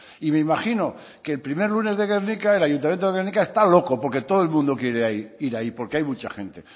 y me imagino que el primer lunes de gernika el ayuntamiento de gernika está loco porque todo el mundo quiere ir ahí porque hay mucha gente